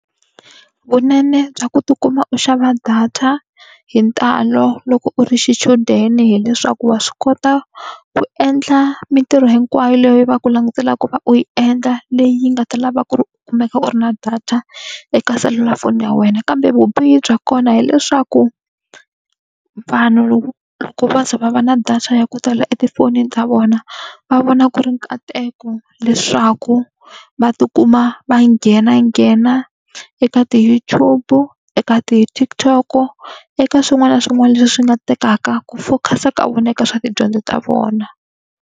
Vunene bya ku tikuma u xava data hi ntalo loko u ri xichudeni hileswaku wa swi kota ku endla mitirho hinkwayo leyi va ku langutela ku va u yi endla leyi yi nga ta lava ku ri u kumeka u ri na data, eka selulafoni ya wena. Kambe vubihi bya kona hileswaku, vanhu loko va za va va na data ya ku tala etifonini ta vona va vona ku ri nkateko leswaku va tikuma va nghenanghena eka ti-YouTube eka ti-TikTok-o eka swin'wana na swin'wana leswi swi nga tekaka ku focus-a ka vona eka swa tidyondzo ta vona.